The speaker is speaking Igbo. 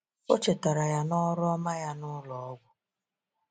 O chetara ya na ọrụ ọma ya nụlọ ọgwụ.